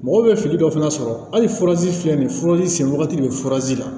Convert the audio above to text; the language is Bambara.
Mɔgɔ bɛ fini dɔ fana sɔrɔ hali furazi filɛ nin furazi sen wagati de ye furazi la